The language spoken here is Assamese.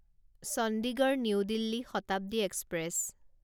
Chandigarh new Delhi Shatabdi express